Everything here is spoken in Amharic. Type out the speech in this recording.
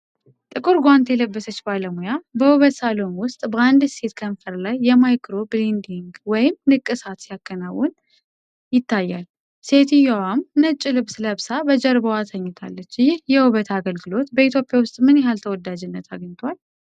ጥቁር ጓንት የለበሰች ባለሙያ፣ በውበት ሳሎን ውስጥ በአንድ ሴት ከንፈር ላይ የማይክሮ-ብሌዲንግ ወይም ንቅሳት ሲያከናውን ይታያል፣ ሴትዮዋም ነጭ ልብስ ለብሳ በጀርባዋ ተኝታለች። ይህ የውበት አገልግሎት በኢትዮጵያ ውስጥ ምን ያህል ተወዳጅነት አግኝቷል?